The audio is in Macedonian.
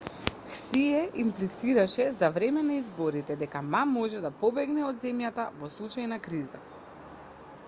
хсие имплицираше за време на изборите дека ма може да побегне од земјата во случај на криза